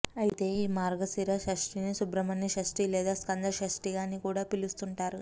అయితే ఈ మార్గశిర షష్టినే సుబ్రహ్మణ్య షష్టి లేదా స్కంద షష్టిగా అని కూడా పిలుస్తుంటారు